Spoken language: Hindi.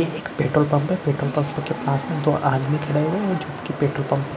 ये एक पट्रोल पंप है पेट्रोल पंप के पास में दो आदमी खड़े है जो कि पेट्रोल पंप